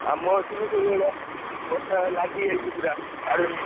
ଆମ ଏଠିବି ସେଇଭଳିଆ, ବର୍ଷା ଲାଗିଯାଇଛି ପୁରା ଛାଡ଼ୁନି।